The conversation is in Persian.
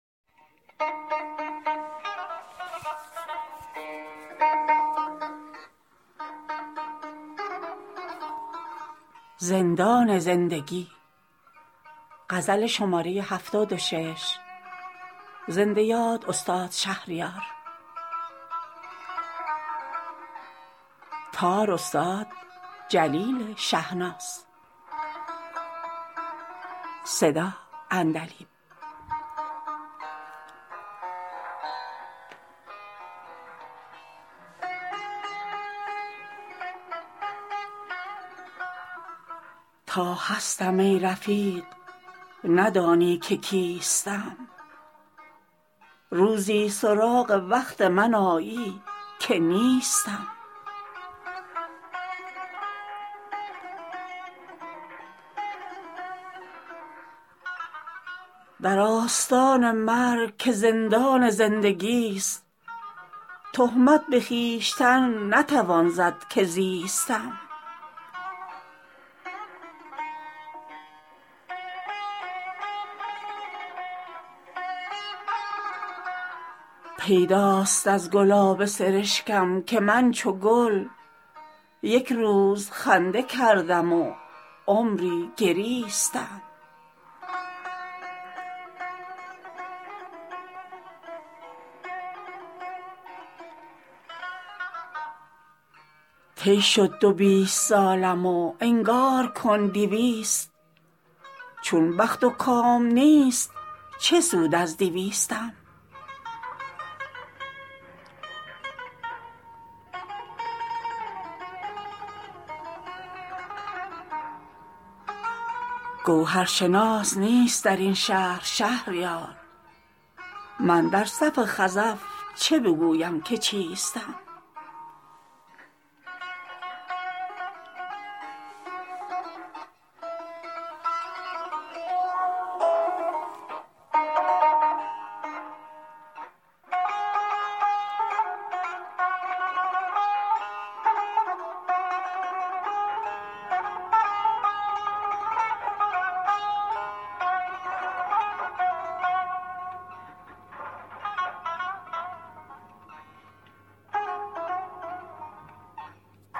تا هستم ای رفیق ندانی که کیستم روزی سراغ وقت من آیی که نیستم در آستان مرگ که زندان زندگیست تهمت به خویشتن نتوان زد که زیستم پیداست از گلاب سرشکم که من چو گل یک روز خنده کردم و عمری گریستم طی شد دو بیست سالم و انگار کن دویست چون بخت و کام نیست چه سود از دویستم خود مدعی که نمره انصاف اوست صفر در امتحان صبر دهد نمره بیستم گر آسمان وظیفه شاعر نمی دهد گو نام هم به خفیه بلیسد ز لیستم سرباز مفت این همه درجا نمی زند سرهنگ گو ببخش به فرمان ایستم گوهرشناس نیست در این شهر شهریار من در صف خزف چه بگویم که چیستم